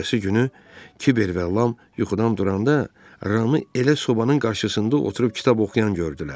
Ertəsi günü kiber və Lam yuxudan duranda Ramı elə sobanın qarşısında oturub kitab oxuyan gördülər.